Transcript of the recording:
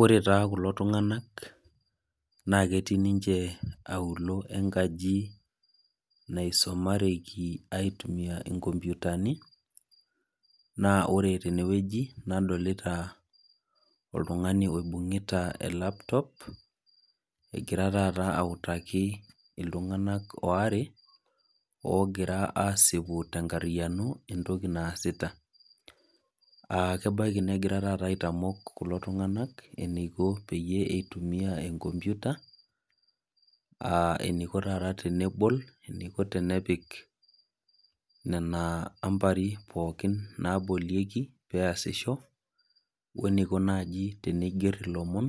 Ore taa kulo tung'anak naaketii ninche aulo enkaji naisomareki aitumia inkompyutani, naa ore tenewueji nadolita oltung'ani oibung'ita elaptop egira tata autaki iltung'anak oare ogira aasipu tenkarriyano entoki naasita. Aah kebaiki negira tata aitamok kulo tung'anak eneiko peyie eitumia enkompyuta aah eneiko tata tenebol, eneiko tenepik nena ambari pookin naabolieki peasisho oeneiko naji teneigerr ilomon